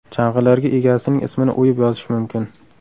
Chang‘ilarga egasining ismini o‘yib yozish mumkin.